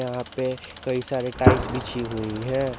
यहां पे कई सारे टाइल्स बिछी हुई है।